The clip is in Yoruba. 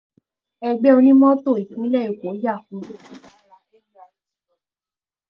ẹgbẹ́ onímọ́tò ìpínlẹ̀ èkó yà